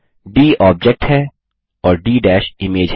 D object है और D image है